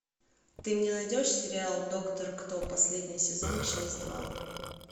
ты мне найдешь сериал доктор кто последний сезон часть два